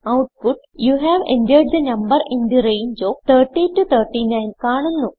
output you have entered the number in the range of 30 to 39 കാണുന്നു